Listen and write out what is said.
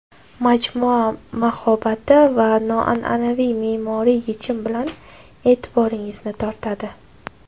Majmua mahobati va noan’anaviy me’moriy yechim bilan e’tiboringizni tortadi.